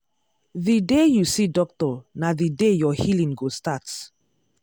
the day you see doctor na the day your healing go start.